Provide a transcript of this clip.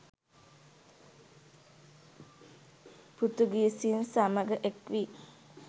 පෘතුගීසින් සමග එක්වී